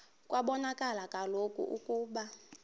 kwabonakala kaloku ukuba